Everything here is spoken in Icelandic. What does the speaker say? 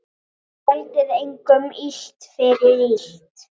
Gjaldið engum illt fyrir illt.